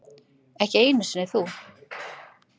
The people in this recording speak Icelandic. Ekki einu sinni þú.